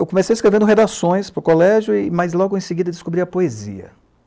Eu comecei escrevendo redações para o colégio, e, mas logo em seguida descobri a poesia.